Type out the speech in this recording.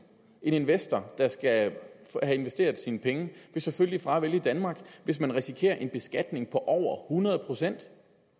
en investor der skal have investeret sine penge vil selvfølgelig fravælge danmark hvis man risikerer en beskatning på over hundrede procent